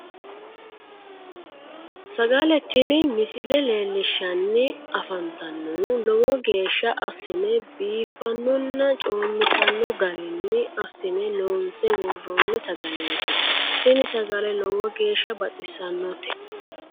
Sagale tini misile leellishshanni afantannohu lowo geeshsha assine biiffannonna coommitanno garinni assine loonse worroonni sagaleeti tini sagale lowo geeshsha baxissannote